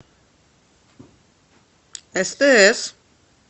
стс